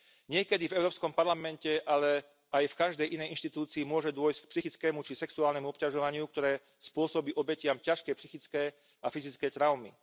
Niekedy v Európskom parlamente, ale aj v každej inej inštitúcii môže dôjsť k psychickému či sexuálnemu obťažovaniu, ktoré spôsobí obetiam ťažké psychické a fyzické traumy.